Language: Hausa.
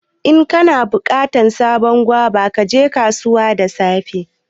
In kana bukatan sabon guava, ka je kasuwan safe.